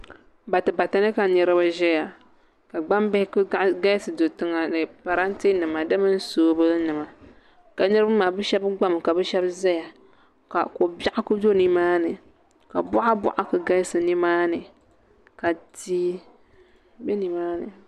Batibati ni ka niraba ʒiya ka gbambihi ku galisi do tiŋa ni parantɛ nima di mini soobuli nima ka niraba maa bi shab gbami ka bi shab ʒɛya ka ko biɛɣu ku do nimaani ka boɣa boɣa ku galisi nimaani ka tia bɛ nimaani